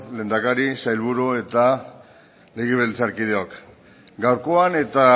lehendakari sailburu eta legebiltzarkideok gaurkoan eta